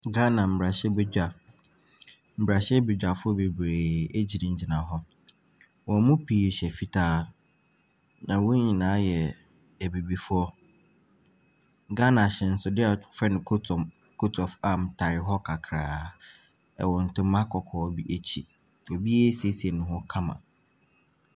Ghama mmarahyɛbadwa, mmarahywbadwafoɔ bebree gyinagyina hɔ. Wɔn mu pii hyɛ fitaa. Na wɔn nyinaa yɛ Abibifoɔ. Ghana ahyɛnsodeɛ a wɔfrɛ no coat om coat of arm tare hɔ kakraa. Ɛwɔ ntoma kɔkɔɔ bi akyi. Obiara asiesie ne ho kama.